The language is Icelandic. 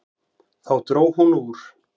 Þá dró hún úr.